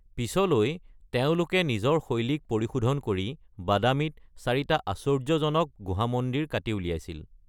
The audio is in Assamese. পিছলৈ তেওঁলোকে নিজৰ শৈলীক পৰিশোধন কৰি বাদামীত চাৰিটা আশ্চৰ্য্যজনক গুহা মন্দিৰ কাটি উলিয়াইছিল।